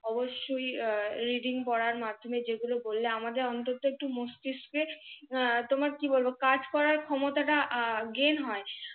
অবশই READING পড়ার মাধ্যমে যেগুলো বললে আমাদের অন্তত একটু মস্তিষ্কে আহ তোমার কি বলবো একটু কাজ করার ক্ষমতাটা GAIN হয়।